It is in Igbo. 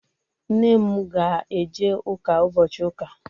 Nne m ga-eje ụka ụbochị ụka.